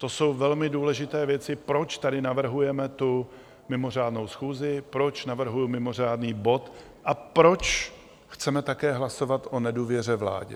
To jsou velmi důležité věci, proč tady navrhujeme tu mimořádnou schůzi, proč navrhuji mimořádný bod a proč chceme také hlasovat o nedůvěře vládě.